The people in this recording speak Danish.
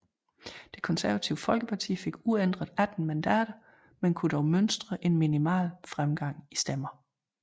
Det Konservative Folkeparti fik uændret 18 mandater men kunne dog mønstre en minimal fremgang i stemmer